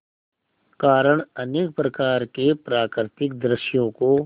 कारण अनेक प्रकार के प्राकृतिक दृश्यों को